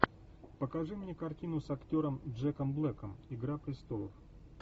покажи мне картину с актером джеком блэком игра престолов